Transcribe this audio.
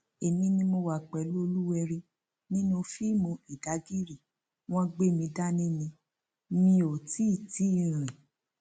èmi ni mo wà pẹlú olúwẹrí nínú fíìmù ìdàgìrì wọn gbé mi dání ni mi ò tì tì í rìn